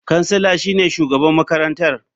Kansila shine shugaban makarantar.